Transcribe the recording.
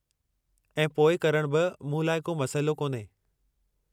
ऐं पोइ करणु बि मूं लाइ को मसइलो कोन्हे।